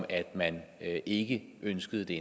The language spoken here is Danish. at man ikke ønsker det